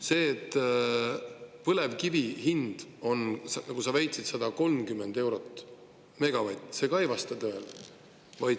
See, et põlevkivi hind on, nagu sa väitsid, 130 eurot megavatt, ka ei vasta tõele.